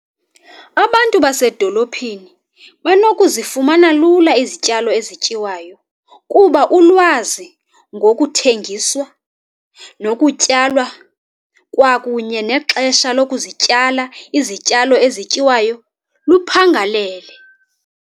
Abantu basedolophini banokuzifumana lula izityalo ezityiwayo kuba ulwazi ngokuthengiswa, nokutywalwa kwakunye nexesha lokuzityala izityalo ezityiwayo luphangalele.